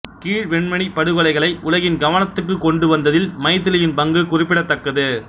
கீழ்வெண்மணிப் படுகொலைகளை உலகின் கவனத்துக்கு கொண்டு வந்ததில் மைதிலியின் பங்கு குறிப்பிடத்தக்கது